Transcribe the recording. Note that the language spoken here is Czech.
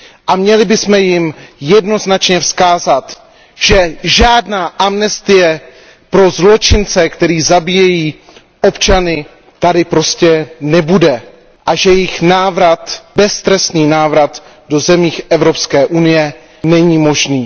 A měli bychom jim jednoznačně vzkázat, že žádná amnestie pro zločince, kteří zabíjejí občany, tady prostě nebude a že jejich návrat, beztrestný návrat do zemí Evropské unie, není možný.